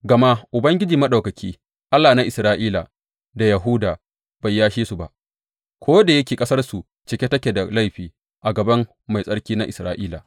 Gama Ubangiji Maɗaukaki, Allah na Isra’ila da Yahuda bai yashe su ba, ko da yake ƙasarsu cike da take da laifi a gaban Mai Tsarki na Isra’ila.